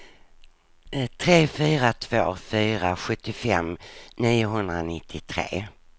tre fyra två fyra sjuttiofem niohundranittiotre